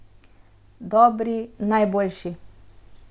Dobri, najboljši.